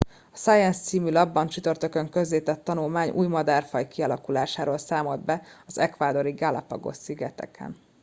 a science című lapban csütörtökön közzétett tanulmány új madárfaj kialakulásáról számolt be az ecuadori galápagos szigeteken